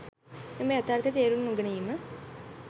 මෙම යථාර්ථය තේරුම් නොගැනීම